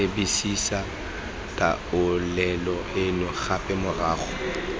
lebisisa taolelo eno gape morago